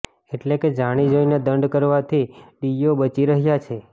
એટલે કે જાણી જોઈને દંડ કરવાથી ડીઈઓ બચી રહ્યા છે